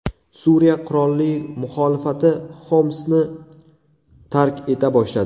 Suriya qurolli muxolifati Xomsni tark eta boshladi.